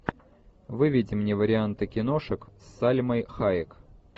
выведи мне варианты киношек с сальмой хайек